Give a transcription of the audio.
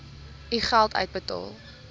u geld uitbetaal